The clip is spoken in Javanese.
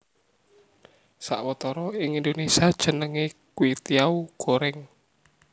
Sawetara ing Indonesia jenenge kwetiau goreng